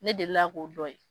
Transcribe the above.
Ne delila k'o dɔn ye.